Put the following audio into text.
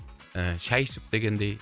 ііі шай ішіп дегендей